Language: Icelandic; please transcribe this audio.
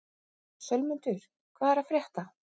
Sölmundur, hvað er að frétta?